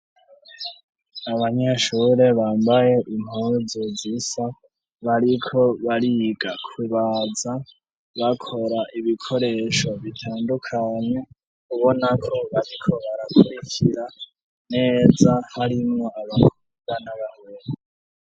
Abanyeshure bambaye impuzu zisa bariko bariga kubaza bakora ibikoresho bitandukanye ubonako bariko barakurikira neza harimwo abakobwa n'abahungu.